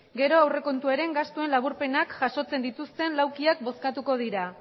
gero aurrekontuaren gastuen laburpenak jasotzen dituzten laukiak bozkatuko dira